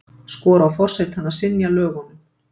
Skora á forsetann að synja lögunum